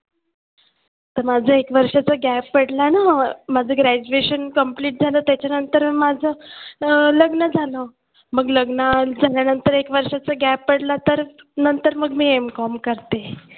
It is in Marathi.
तर माझं एक वर्षाचा gap पडला ना माझं graduation complete झालं त्याच्यानंतर माझं अं लग्न झालं मग लग्न झाल्यानंतर एक वर्षाचा gap पडला तर नंतर मग मी Mcom करते.